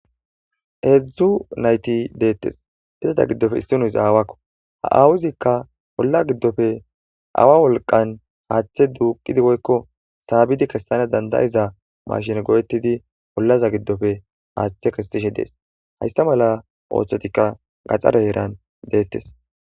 Heedzdzu nayti deettes. izata giddofe issinnozi aawakko. Ha awuzikka olla giddofe awa wolqan haaththe duuqidi woykko saabidi kessana danda'iza mashine go'ettidi ollaza giddofe haaththe kessishe dees. Hayssa mala ooththotikka gaxare heeran deettes.